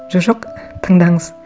жо жоқ тыңдаңыз